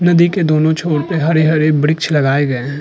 नदी के दोनों छोर पे हरे हरे वृक्ष लगाए गए हैं।